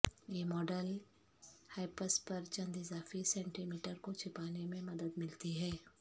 یہ model hips پر چند اضافی سینٹی میٹر کو چھپانے میں مدد ملتی ہے